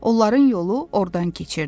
Onların yolu ordan keçirdi.